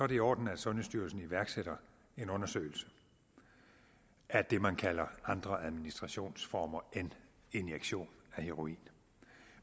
i orden at sundhedsstyrelsen iværksætter en undersøgelse af det man kalder andre administrationsformer end injektion af heroin